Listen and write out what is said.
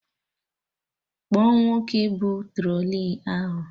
Kpọọ nwoke bụ trọlị ahụ!